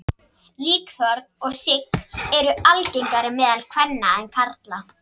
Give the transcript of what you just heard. Líkþorn og sigg eru algengari meðal kvenna en karla.